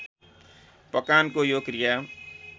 पकानको यो क्रिया